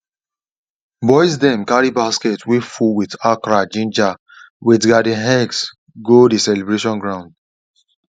boys dem carry basket way full with okra ginger with garden eggs go the celebration ground